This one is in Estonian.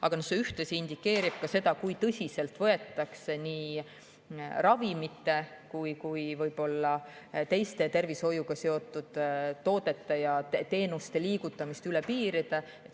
Aga see ühtlasi indikeerib ka seda, kui tõsiselt võetakse nii ravimite kui ka võib-olla teiste tervishoiuga seotud toodete ja teenuste liigutamist üle piiride.